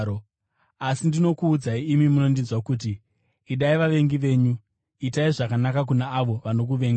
“Asi ndinokuudzai imi munondinzwa kuti: Idai vavengi venyu, itai zvakanaka kuna avo vanokuvengai,